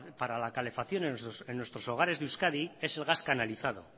para la calefacción en nuestros hogares de euskadi es el gas canalizado